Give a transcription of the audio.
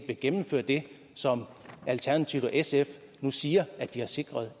vil gennemføre det som alternativet og sf nu siger at de har sikret